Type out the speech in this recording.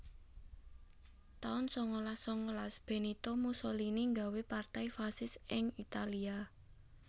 taun sangalas sangalas Benito Mussolini nggawé Partai Fasis ing Italia